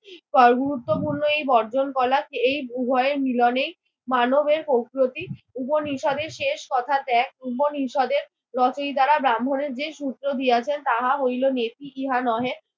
পর মুহূর্তগুলোই বর্জন কলাত। এই উভয়ের মিলনেই মানবের কৌস্রতি উপনিষদের শেষ কথা ত্যাগ। উপনিষদের লতই দ্বারা ব্রাহ্মণের যে সূত্র দিয়াছেন তাহা হইলো নেতি ইহা নহে।